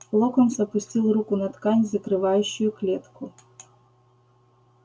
локонс опустил руку на ткань закрывающую клетку